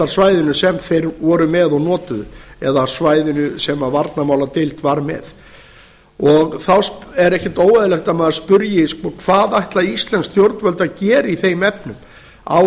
á keflavíkurflugvallarsvæðinu sem þeir voru með og notuðu eða svæðinu sem varnarmáladeild var með þá er ekkert óeðlilegt að maður spyrji hvað ætla íslensk stjórnvöld að gera í þeim efnum á